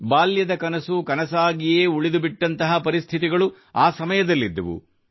ಬಾಲ್ಯದ ಕನಸು ಕನಸಾಗಿಯೇ ಉಳಿದುಬಿಟ್ಟಂತಹ ಪರಿಸ್ಥಿತಿಗಳು ಆ ಸಮಯದಲ್ಲಿದ್ದವು